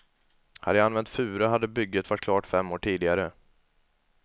Hade jag använt furu hade bygget varit klart fem år tidigare.